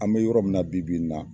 An bɛ yɔrɔ min na bi bi n na.